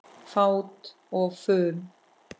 Fát og fum